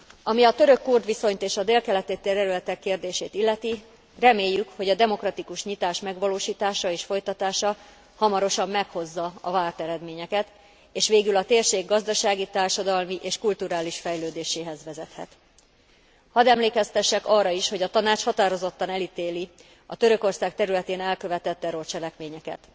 Ami a török kurd viszonyt és a dél keleti területek kérdését illeti, reméljük, hogy a demokratikus nyitás megvalósítása és folytatása hamarosan meghozza a várt eredményeket, és végül a térség gazdasági, társadalmi és kulturális fejlődéséhez vezethet. Hadd emlékeztessek arra is, hogy a Tanács határozottan elítéli a Törökország területén elkövetett terrorcselekményeket.